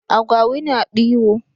Agwawi na ɗiwo.